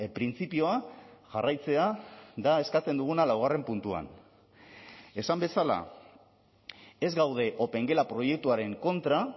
printzipioa jarraitzea da eskatzen duguna laugarren puntuan esan bezala ez gaude opengela proiektuaren kontra